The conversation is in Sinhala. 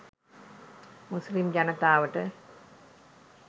මුස්ලිම් ජනතාවට.